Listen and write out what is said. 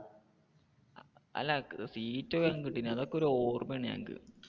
അല്ല seat വേഗം കിട്ടിനെ. അതൊക്കെ ഒരു ഓർമ്മയാണ് ഞങ്ങൾക്ക്.